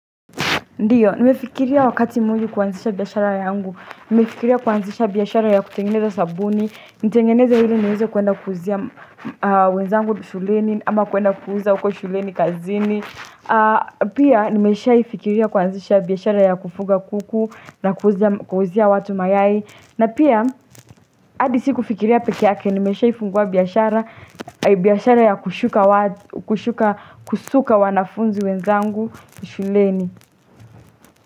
Ndiyo, nimefikiria wakati muhimu kuhanzisha biashara yangu. Nimefikiria kuaanzisha biashara ya kutengeneza sabuni, nitengeneza hili niw hieze kuenda kuhuzia wenzangu shuleni ama kuenda kuhuzia uko shuleni, kazini. Pia, nimeshaifikiria kuhanzisha biashara ya kufuga kuku na kuhuzia watu mayai. Na pia, hadi si kufikiria pekee yake, nimeshaifungua biashara ya kushuka wanafunzi wenzangu shuleni.